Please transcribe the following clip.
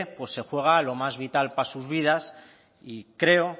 pues se juega lo más vital para sus vidas y creo